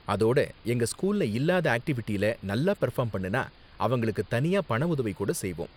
அதோட எங்க ஸ்கூல்ல இல்லாத ஆக்டிவிட்டில நல்லா பெர்ஃபார்ம் பண்ணுனா, அவங்களுக்கு தனியா பண உதவி கூட செய்வோம்.